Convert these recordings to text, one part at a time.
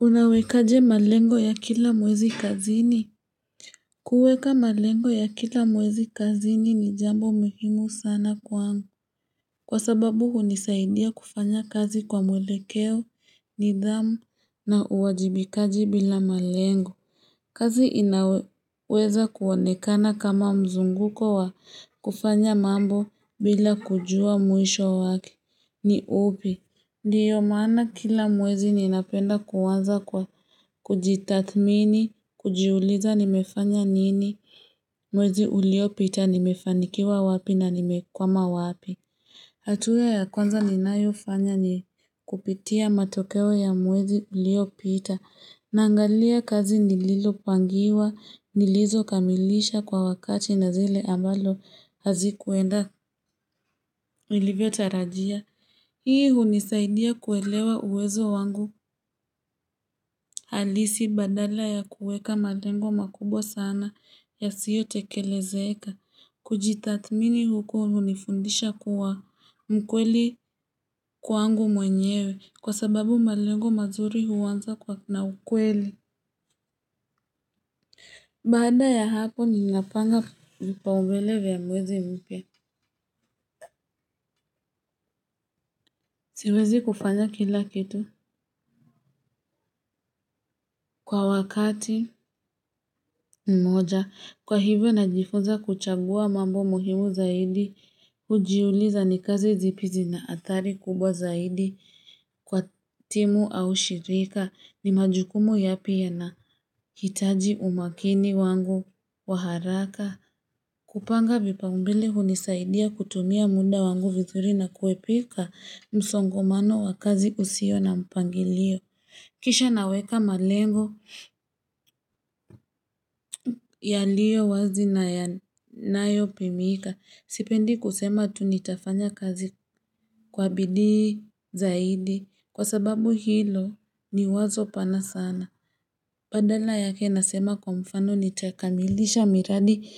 Unawekaje malengo ya kila mwezi kazini? Kuweka malengo ya kila mwezi kazini ni jambo muhimu sana kwangu Kwa sababu hunisaidia kufanya kazi kwa mwelekeo nidhamu na uwajibikaji bila malengo. Kazi inaweza kuonekana kama mzunguko wa kufanya mambo bila kujua mwisho wake ni upi. Ndiyo maana kila mwezi ninapenda kuanza kwa kujitathmini, kujiuliza nimefanya nini mwezi uliopita p nimefanikiwa wapi na nimekwama wapi. Hatua ya kwanza ninayo fanya ni kupitia matokeo ya mwezi uliopita naangalia kazi nililo pangiwa, nilizo kamilisha kwa wakati na zile ambalo hazikuenda nilivyo tarajia. Hii hunisaidia kuelewa uwezo wangu halisi badala ya kuweka malengo makubwa sana yasiyo tekelezeka. Kujitatmini huku hunifundisha kuwa mkweli kwangu mwenyewe kwa sababu malengo mazuri huwanza kwa na ukweli. Baada ya hapo ninapanga vipaumbele vya mwezi mpya. Siwezi kufanya kila kitu kwa wakati mmoja kwa hivyo najifuza kuchagua mambo muhimu zaidi Hujiuliza ni kazi zipi zina athari kubwa zaidi kwa timu au shirika ni majukumu yapi yanahitaji umakini wangu waharaka. Kupanga vipaumbele hunisaidia kutumia muda wangu vizuri na kuepuka msongomano wa kazi usio na mpangilio. Kisha naweka malengo yaliyo wazi nayanyopimika. Sipendi kusema tu nitafanya kazi kwa bidii zaidi kwa sababu hilo ni wazo pana sana. Badala yake nasema kwa mfano nitakamilisha miradi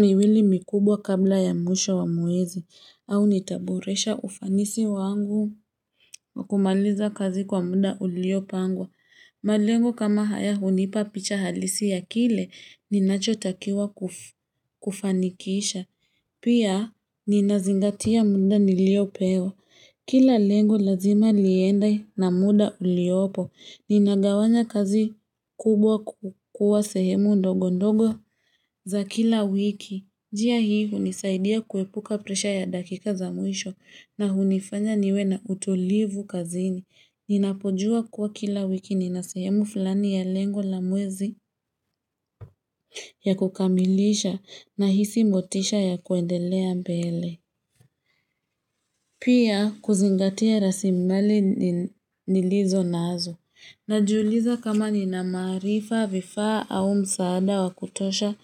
miwili mikubwa kabla ya mwisho wa mwezi au nitaboresha ufanisi wangu kumaliza kazi kwa muda uliopangwa. Malengo kama haya hunipa picha halisi ya kile ninacho takiwa kufanikisha. Pia ninazingatia muda niliopewa Kila lengo lazima liende na muda uliopo. Ninagawanya kazi kubwa kukua sehemu ndogo ndogo za kila wiki. NJia hii hunisaidia kuepuka presha ya dakika za mwisho na hunifanya niwe na utulivu kazini. Ninapojua kuwa kila wiki ninasehemu fulani ya lengo la mwezi ya kukamilisha nahisi motisha ya kuendelea mbele. Pia kuzingatia raslimali nilizo nazo. Najiuliza kama nina maarifa vifaa au msaada wakutosha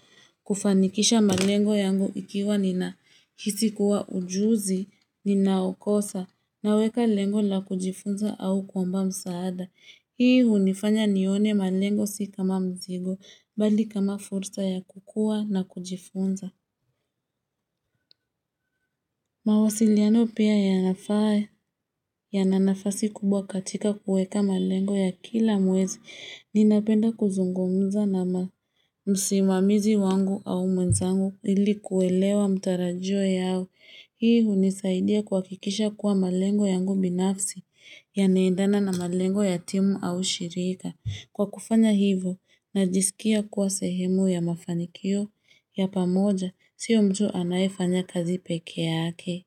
kufanikisha malengo yangu ikiwa nina hisi kuwa ujuzi ninaukosa naweka lengo la kujifunza au kuomba msaada. Hii hunifanya nione malengo si kama mzigo bali kama fursa ya kukua na kujifunza. Mawasiliano pia yana nafasi kubwa katika kuweka malengo ya kila mwezi ninapenda kuzungumza na msimamizi wangu au mwenzangu ilikuwelewa matarajio yao. Hii hunisaidia kuhakikisha kuwa malengo yangu binafsi yanaendana na malengo ya timu au shirika. Kwa kufanya hivo najisikia kuwa sehemu ya mafanikio ya pamoja siyo mtu anayefanya kazi peke yake.